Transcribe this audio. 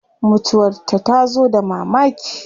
Mutuwar ta tazo da mamaki